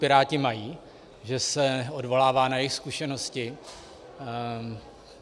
Piráti mají, že se odvolává na jejich zkušenosti?